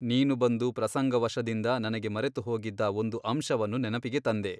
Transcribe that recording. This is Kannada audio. ನೀನು ಬಂದು ಪ್ರಸಂಗ ವಶದಿಂದ ನನಗೆ ಮರೆತುಹೋಗಿದ್ದ ಒಂದು ಅಂಶವನ್ನು ನೆನಪಿಗೆ ತಂದೆ.